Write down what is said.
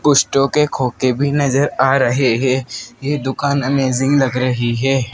कुछ टोके खोके भी नजर आ रहे है यह दुकान अमेजिंग लग रही है।